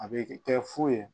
A bɛ kɛ fu ye